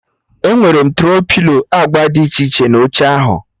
Enwere m Tro-pilo agba dị iche na oche ahụ